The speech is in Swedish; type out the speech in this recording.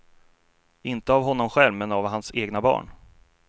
Inte av honom själv men av hans egna barn.